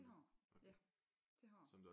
Det har a ja det har a